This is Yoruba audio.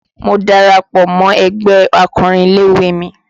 Mo darapọ̀ mọ ẹgbẹ́ akọrin ilé-ìwé mi